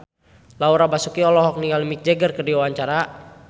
Laura Basuki olohok ningali Mick Jagger keur diwawancara